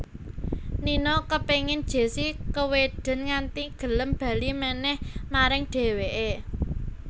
Nino kepéngin Jessi kewedèn nganti gelem bali manèh maring dhèwèké